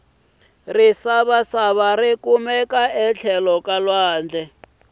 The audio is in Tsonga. risavasava rikumeka etlhelo ka lwandle